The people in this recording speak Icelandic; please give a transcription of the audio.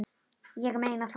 Ég meina það.